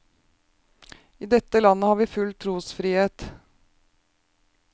I dette landet har vi full trosfrihet.